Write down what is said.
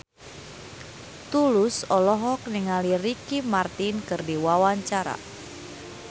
Tulus olohok ningali Ricky Martin keur diwawancara